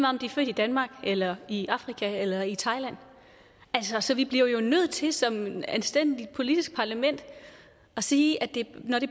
om de er født i danmark eller i afrika eller i thailand så vi bliver jo nødt til som et anstændigt politisk parlament at sige at når det